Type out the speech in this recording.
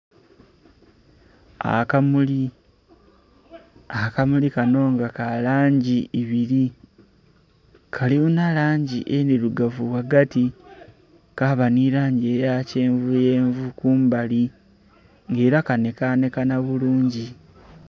Akamuli, akamuli kano nga ka langi ibiri, kalinha langi endhirugavu ghagati, kaba ne langi eye kyenvu yenvu kumbali nga era kanhekanhekanha bulungi.